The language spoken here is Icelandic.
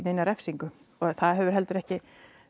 og það hefur heldur ekki